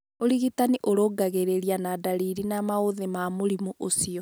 Ũrigitani ũrũngagĩriria na ndariri na maũthĩ ma mũrimũ ũcio.